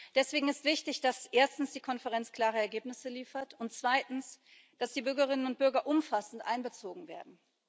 Deswegen ist es wichtig, dass erstens die Konferenz klare Ergebnisse liefert und dass zweitens die Bürgerinnen und Bürger umfassend einbezogen werden.